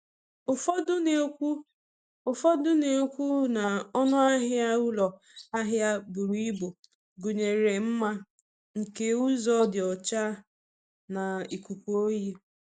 Ụfọdụ na-ekwu Ụfọdụ na-ekwu na ọnụ ahịa ụlọ ahịa buru ibu gụnyere mma nke ụzọ dị ọcha na ikuku oyi.